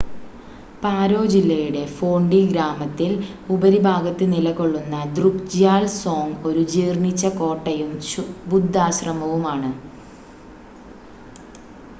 പാരോ ജില്ലയുടെ ഫോണ്ടി ഗ്രാമത്തിൽ ഉപരിഭാഗത്ത് നിലകൊള്ളുന്ന ദ്രുക്ജ്യാൽ സോങ് ഒരു ജീർണ്ണിച്ച കോട്ടയും ബുദ്ധാശ്രമവുമാണ്